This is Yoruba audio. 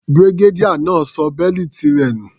Brigadier náà ṣọ bẹ́lìtì rẹ̀ nù.